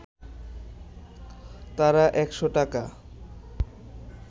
তারা একশ’ টাকা